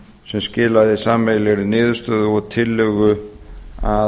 sem skilaði sameiginlegri niðurstöðu og tillögu að